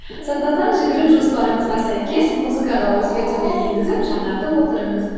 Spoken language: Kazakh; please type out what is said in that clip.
сондықтан жүгіру жоспарыңызға сәйкес музыкаға өзгертулер енгізіп жаңартып отырыңыз